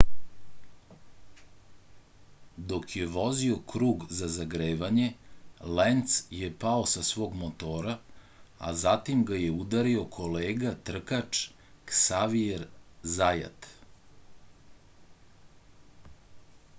dok je vozio krug za zagrevanje lenc je pao sa svog motora a zatim ga je udario kolega trkač ksavijer zajat